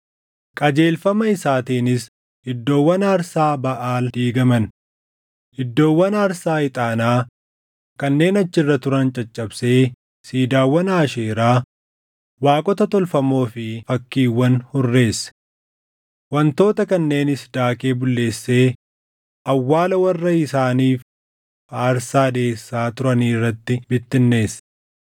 Qajeelfama isaatiinis iddoowwan aarsaa Baʼaal diigaman; iddoowwan aarsaa ixaanaa kanneen achi irra turan caccabsee siidaawwan Aasheeraa, waaqota tolfamoo fi fakkiiwwan hurreesse. Wantoota kanneenis daakee bulleessee awwaala warra isaaniif aarsaa dhiʼeessaa turanii irratti bittinneesse.